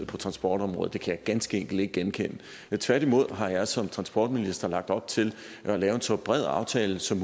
på transportområdet kan jeg ganske enkelt ikke genkende tværtimod har jeg som transportminister lagt op til at lave en så bred aftale som